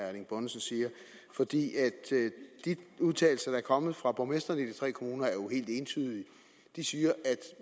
erling bonnesen siger for de udtalelser der er kommet fra borgmestrene i de tre kommuner er helt entydige de siger at